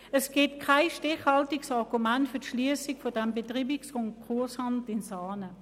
Es gibt kein stichhaltiges Argument für die Schliessung des Betreibungs- und Konkursamtes in Saanen.